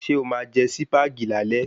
Se o máa jẹ Sípàgì lálé